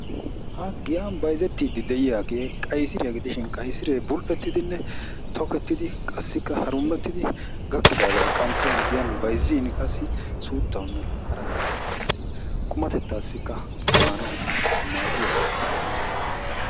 Ha giyan bayzettidi de'iyagee qayisiriya gidishin qayisiree bul"ettidinne tokettidi qassikka harummettidi gakkidaagaa qanxxin giyan bayzziin qassi suuttawunne hara harabawukka qassi qumatettaassikka maanawu maaddiya quma qommo.